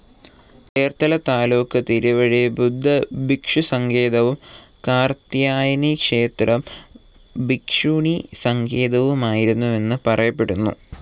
ചേർത്തല താലൂക്ക് തിരുവഴി ബുദ്ധഭിക്ഷുസങ്കേതവും കാർത്യായനിക്ഷേത്രം ഭിക്ഷുണീസങ്കേതവുമായിരുന്നെന്ന് പറയപ്പെടുന്നു.